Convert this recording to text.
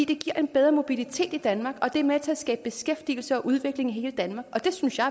det giver en bedre mobilitet i danmark og det er med til at skabe beskæftigelse og udvikling i hele danmark og det synes jeg